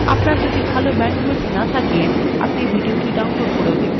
আপনার যদি ভাল bandwidth না থাকে আপনি এটি download করেও দেখতে পারেন